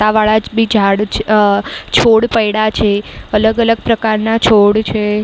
તા વાળા જ ભી ઝાડ છ અહ છોડ પૈડાં છે. અલગ અલગ પ્રકારના છોડ છે.